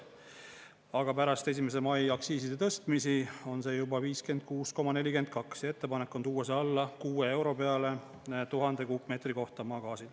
Aga pärast 1. mai aktsiiside tõstmisi on see juba 56,42 ja ettepanek on tuua see alla 6 euro peale 1000 kuupmeetri kohta maagaasi.